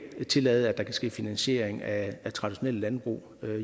tillade at der kan ske finansiering af traditionelle landbrug